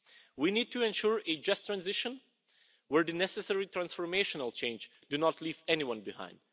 We need to ensure a just transition where the necessary transformational change do not leave anyone behind.